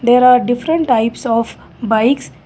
there are different types of bikes.